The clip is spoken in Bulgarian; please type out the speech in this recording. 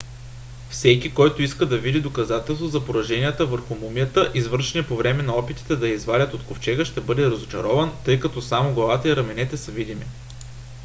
всеки който иска да види доказателства за пораженията върху мумията извършени по време на опитите да я извадят от ковчега ще бъде разочарован тъй като само главата и раменете са видими